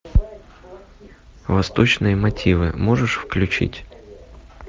восточные мотивы можешь включить